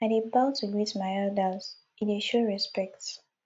i dey bow to greet my elders e dey show respect